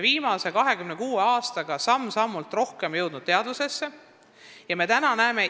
Viimase 26 aastaga on see jõudnud üha rohkem inimeste teadvusesse.